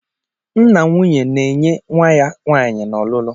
Nna nwunye na-enye nwa ya nwaanyị na ọlụlu.